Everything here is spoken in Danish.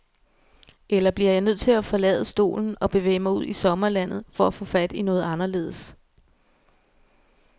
Eller bliver jeg nødt til at forlade stolen og bevæge mig ud i sommerlandet for at få fat i noget anderledes.